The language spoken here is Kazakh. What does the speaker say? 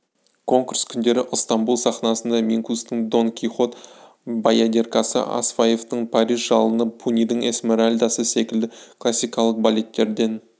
конкурс күндері ыстамбұл сахнасында минкустың дон кихот баядеркасы асафьевтің париж жалыны пунидің эсмеральдасы секілді классикалық балеттерден